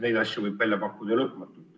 Neid asju võib välja pakkuda lõpmatult.